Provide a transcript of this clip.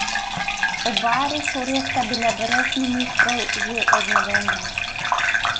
Oba resorja sta brez ministrov že od novembra.